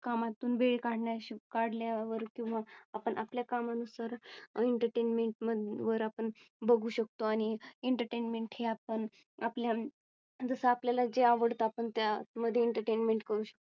कामातून वेळ काढल्या वर किंवा आपण आपल्या कामानुसार Entertainment वर आपण बघू शकतो आणि Entertainment ही आपण आपल्या जसं आपल्या ला जे आवडतात पण त्या मध्ये Entertainment करू शकतो.